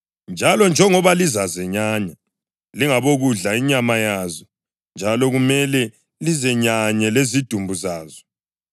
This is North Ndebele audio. Njalo njengoba lizazenyanya, lingabokudla inyama yazo, njalo kumele lizenyanye lezidumbu zazo.